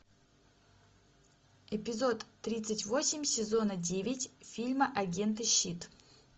эпизод тридцать восемь сезона девять фильма агенты щит